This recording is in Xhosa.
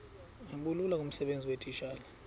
bulula kumsebenzi weetitshala